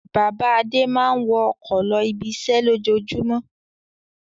Bàbá Adé máa ń wọ ọkọ̀ lọ ibiṣẹ́ lójoojúmọ́.